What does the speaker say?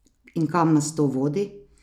In kam nas to vodi?